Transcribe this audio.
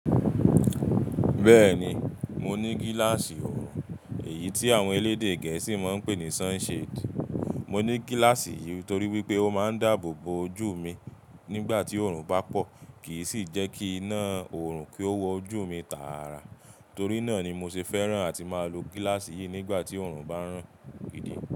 Béèni mo ní gíláàsì oòrùn èyí tí àwon elèdè gèésì màa pè ní sunshade. Mo ní gíláàsì yìí torí wi pé ó máa da bobo ojú mi nígbà ti oòrùn ba pò kin se je kí iná oòrùn wo ojú mi tààrà. Torí náà ni mo ṣe fẹ́ràn àti máa lo gíláàsì yìí nígbà tí oorun bá rán gìdí.